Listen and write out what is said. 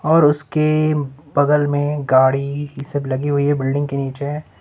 और उसके बगल में गाड़ी सब लगी हुई है बिल्डिंग के नीचे।